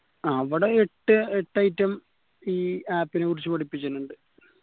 അവിടെ എട്ട് എട്ട് item ഈ app നെ കുറിച് പഠിപ്പിച്ചാലുണ്ട്